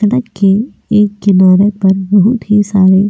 सड़क के एक किनारे पर बहुत ही सारे.